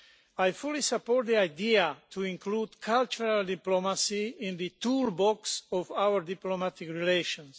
I fully support the idea to include cultural diplomacy in the toolbox of our diplomatic relations.